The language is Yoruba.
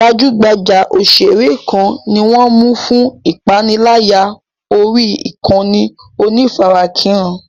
Gbajúgbajà òṣèré kan ni wọ́n ń mú fún ìpániláyà orí ìkànnì onífarakínra.